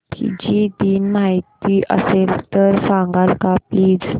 Fiji दिन माहीत असेल तर सांगाल का प्लीज